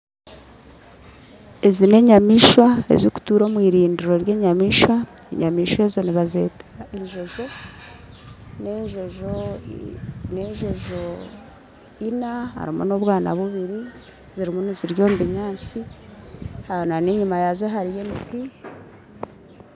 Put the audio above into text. Ezi n'enyamaishwa ezikutuura omwirindiro ry'enyamaishwa enyamaishwa ezo nibazeta enjojo n'enjojo n'enjojo ina harumu n'obwaana bubiri zirimu nizirya omubinyantsi n'enyuma yazo hariyo emiti.